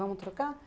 Vamos trocar?